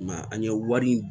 I ma ye an ye wari